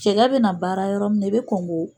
Cɛkɛ bɛna baara yɔrɔ min na i bɛ kɔn k'o